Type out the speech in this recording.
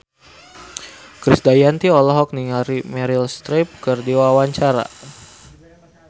Krisdayanti olohok ningali Meryl Streep keur diwawancara